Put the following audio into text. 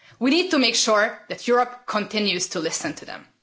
We need to make sure that Europe continues to listen to them.